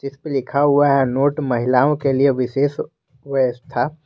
इस पे लिखा हुआ है नोट महिलाओं के लिए विशेष व्यवस्था।